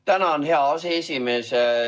Tänan, hea aseesimees!